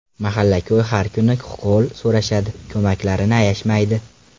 Mahalla-ko‘y har kuni hol so‘rashadi, ko‘maklarini ayashmaydi.